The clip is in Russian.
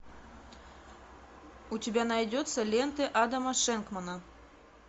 у тебя найдется ленты адама шенкмана